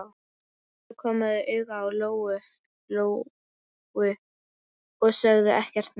Svo komu þau auga á Lóu-Lóu og sögðu ekkert meira.